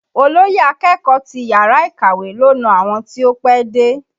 Olóyè akẹ́kọ̀ọ́ ti yàrá ìkàwé ló na àwọn tí ó pẹ́dé